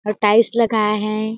और टाइल्स लगया है।